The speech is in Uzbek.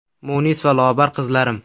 Munis va lobar qizlarim!